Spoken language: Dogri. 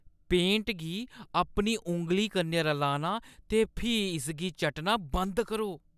पेंट गी अपनी उंगली कन्नै रलाना ते फ्ही इसगी चट्टना बंद करो।